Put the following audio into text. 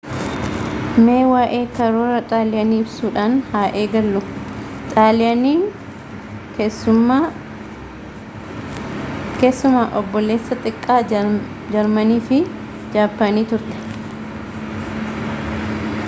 mee waa'ee karoora xaaliyaanii ibsuudhaan haa eegallu xaaliyaaniin keessumaa obboleessa xiqqaa jarmanii fi jaappaanii turte